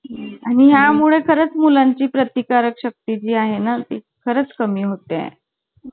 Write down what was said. आणि यामुळे खरंच मुलांची प्रतिकारक शक्ती जी आहे ना ती खरंच कमी होते आहे